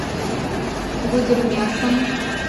гудермесом